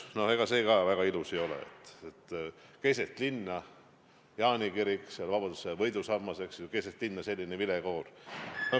No ega see väga ilus ei ole, et keset linna – Jaani kirik, vabadussõja võidusammas – kõlab selline vilekoor.